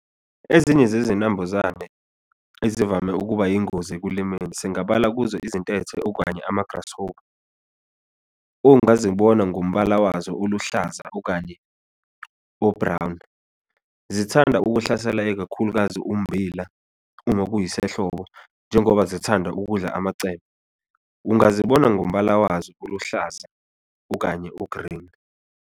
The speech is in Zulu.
Ezinye zezinambuzane ezivame ukuba yingozi ekulimeni, singabala kuzo izintethe okanye ama-grasshopper, ongazibona ngombala wazo oluhlaza, okanye o-brown. Zithanda ukuhlasela, ikakhulukazi ummbila uma kuyisehlobo, njengoba zithanda ukudla amacembe. Ungazibona ngombala wazo oluhlaza okanye o-green.